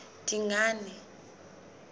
dingane